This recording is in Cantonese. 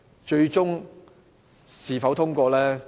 至於最終它是否獲通過？